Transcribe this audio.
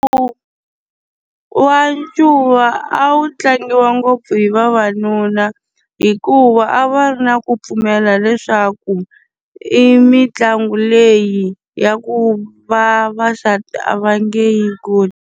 wa ncuva a wu tlangiwa ngopfu hi vavanuna, hikuva a va ri na ku pfumela leswaku i mitlangu leyi ya ku vavasati a va nge yi koti.